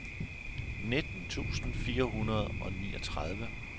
nitten tusind fire hundrede og niogtredive